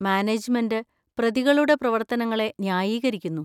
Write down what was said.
Management പ്രതികളുടെ പ്രവർത്തനങ്ങളെ ന്യായീകരിക്കുന്നു.